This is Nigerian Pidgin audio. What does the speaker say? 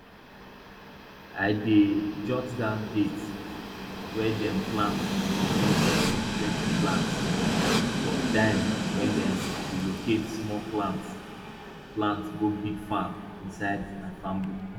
i dey jot down date wen dem plant remove plenty plants plus time wen dem relocate small plants plants go big farm inside my farm book